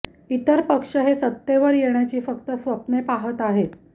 इतर पक्ष हे सत्तेवर येण्याची फक्त स्वप्ने पहत आहेत